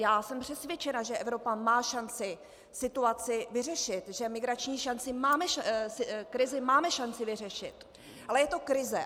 Já jsem přesvědčena, že Evropa má šanci situaci vyřešit, že migrační krizi máme šanci vyřešit, ale je to krize.